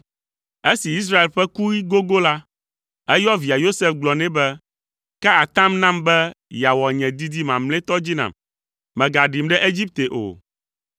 Esi Israel ƒe kuɣi gogo la, eyɔ via Yosef gblɔ nɛ be, “Ka atam nam be yeawɔ nye didi mamlɛtɔ dzi nam: Mègaɖim ɖe Egipte o.